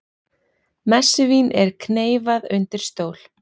Messuvín er kneyfað undir stól